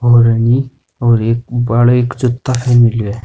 और है नि और एक --